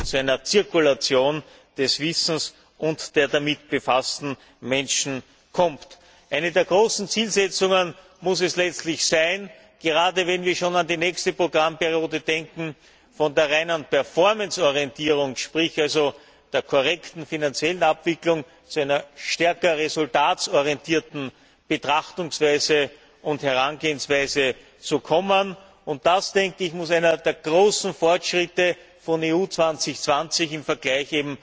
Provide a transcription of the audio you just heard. zu einer Zirkulation des Wissens und der damit befassten Menschen kommt. Eine der großen Zielsetzungen muss es letztlich sein, gerade wenn wir schon an die nächste Programmperiode denken, von der reinen Performance Orientierung, sprich also der korrekten finanziellen Abwicklung zu einer stärker ergebnisorientierten Betrachtungs und Herangehensweise zu kommen, und das muss einer der großen Fortschritte von EU 2020 im Vergleich